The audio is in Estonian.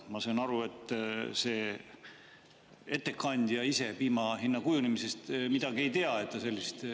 Ma saan aru, et see ettekandja ise piima hinna kujunemisest midagi ei tea, et ta sellist …